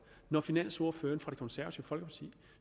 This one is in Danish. når finansordføreren fra de konservative